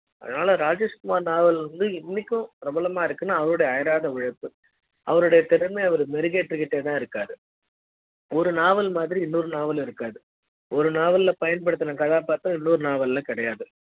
அதனால ராஜேஷ்குமார் நாவல் இருந்து இன்னைக்கு பிரபலமா இருக்குனா அவறோட அயராத உழைப்பு அவருடைய திறமைய அவரு மெருகு ஏத்திக்கிட்டே தா இருக்காரு ஒரு நாவல் மாதிரி இன்னொரு நாவல் இருக்காது ஒரு நாவல பயன்படுத்துன கதாபாத்திரம் இன்னொரு நாவல்ல கிடையாது